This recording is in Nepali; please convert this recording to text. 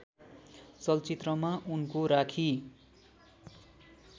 चलचित्रमा उनको राखी